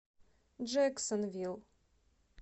джэксонвилл